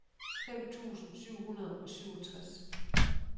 fem tusind syv hundrede og syvogtres